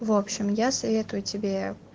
в общем я советую тебе